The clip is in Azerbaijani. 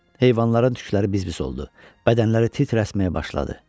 Heyvanların tükləri biz-biz oldu, bədənləri titrəşməyə başladı.